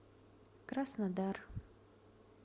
краснодар